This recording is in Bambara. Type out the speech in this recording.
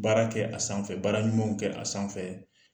Baara kɛ a sanfɛ baara ɲumanw kɛ a sanfɛ